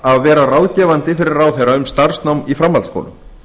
að vera ráðgefandi fyrir ráðherra um starfsnám í framhaldsskólum